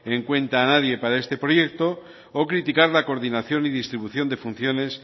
en cuenta a nadie para este proyecto o criticar la coordinación y distribución de funciones